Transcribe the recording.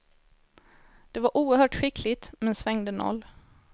Det var oerhört skickligt men svängde noll.